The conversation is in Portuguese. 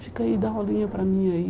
Fica aí, dá uma olhinha para mim aí.